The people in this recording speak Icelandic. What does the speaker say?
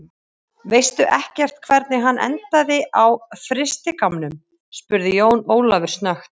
Veistu ekkert hvernig hann endaði á frystigámnum, spurði Jón Ólafur snöggt.